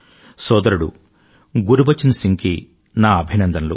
సోదరుడు గురుబచన్ సింగ్ కి నా అభినందనలు